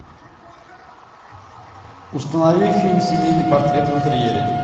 установи фильм семейный портрет в интерьере